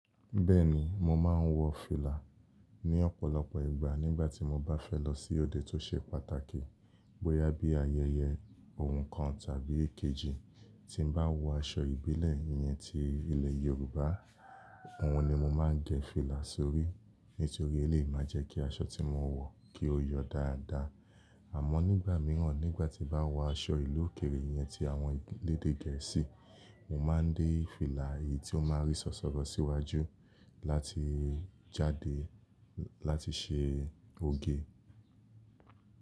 Bẹ́ẹ̀ni, mo máa ń wọ fìlà ní ọ̀pọ̀lọpọ̀ ìgbà nígbà tí mo bá fẹ́ lọ sí òde tó ṣe pàtàkì. Bóyá bí ayẹyẹ ohun kan tàbí èkejì tí n bá wọ aṣọ ìbílẹ̀ yẹn tí ilẹ̀ Yorùbá, òhun ni mo máa ń gẹ fìlà sórí, nítorí ẹlèyi máa jẹ́ kí aṣọ tí mo wọ̀ kí ó yọ dáadáa. Àmọ́ nígbà míràn nígbà tí n bá wọ aṣọ ìlú òkèèrè yẹn tí àwọn orílẹ̀èdè Gẹ̀ẹ́sì, mo máa ń dé fìlà eyí ti ó ma rí sọ̀sọ̀rọ̀ síwájú láti jáde láti ṣe oge.